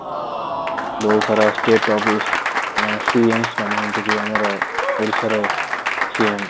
ବହୁତ ସାରା state CMs ମାନେ ଯେମିତିକି ଆମର ଓଡ଼ିଶାର CM